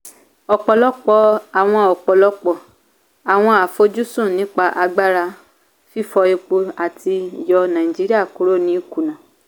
ọ̀pọ̀lọpọ̀ àwọn ọ̀pọ̀lọpọ̀ àwọn àfojúsùn nípa agbára fífọ epo àti yọ naijiria kúrò ní ìkuna.